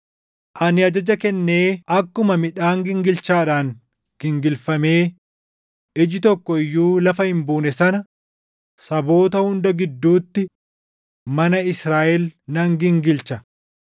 “Ani ajaja kennee akkuma midhaan gingilchaadhaan gingilfamee iji tokko iyyuu lafa hin buune sana saboota hunda gidduutti mana Israaʼel nan gingilcha.